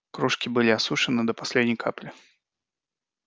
кружки были осушены до последней капли